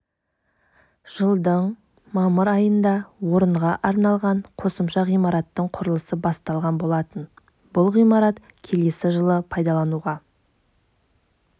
жылдың мамыр айында орынға арналған қосымша ғимараттың құрылысы басталған болатын бұл ғимарат келесі жылы пайдалануға